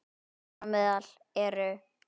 Þar á meðal eru